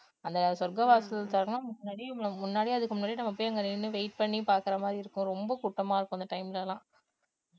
அந்த சொர்க்கவாசல் திறக்குக்கன்ன முன்னாடியே நம்ம முன்னாடியே அதுக்கு முன்னாடி நம்ம போய் அங்க நின்னு wait பண்ணி பாக்குற மாதிரி இருக்கும ரொம்ப கூட்டமா இருக்கும் அந்த time ல எல்லாம்